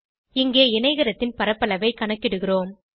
இங்கே இணைகரத்தின் பரப்பளவை கணக்கிடுகிறோம்